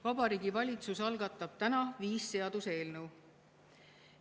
Vabariigi Valitsus algatab täna viis seaduseelnõu.